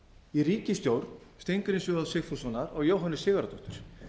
í ríkisstjórn steingríms j sigfússonar og jóhönnu sigurðardóttur